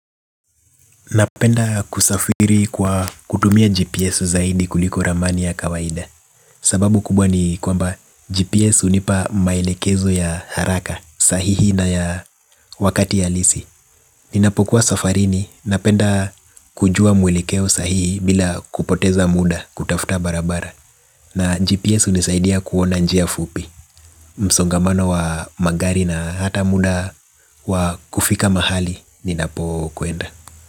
Napenda kusafiri kwa kutumia GPS zaidi kuliko ramani ya kawaida. Sababu kubwa ni kwamba GPS hunipa maelekezo ya haraka sahihi na ya wakati halisi. Ninapokuwa safarini napenda kujua mwelekeo sahihi bila kupoteza muda kutafuta barabara. Na GPS hunisaidia kuona njia fupi msongamano wa magari na hata muda wa kufika mahali ninapokwenda.